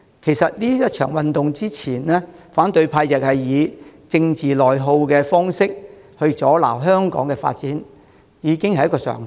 其實這場運動之前，反對派用政治內耗的方式來阻撓香港的發展，已經是一個常態。